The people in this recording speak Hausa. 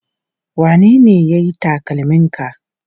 Wanene ya yi takalminka?